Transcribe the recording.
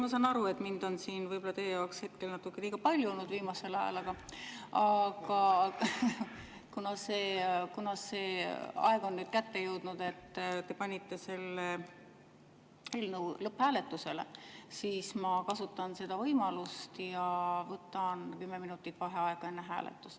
Ma saan aru, et mind on siin võib-olla teie jaoks natukene liiga palju olnud viimasel ajal, aga kuna see aeg on nüüd kätte jõudnud, et te panite selle eelnõu lõpphääletusele, siis ma kasutan seda võimalust ja võtan kümme minutit vaheaega enne hääletust.